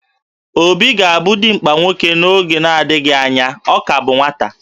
Obi ga-abụ dimkpa nwoke n'oge na-adịghị anya, ọ ka bụ nwata